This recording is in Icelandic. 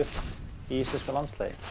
í íslensku landslagi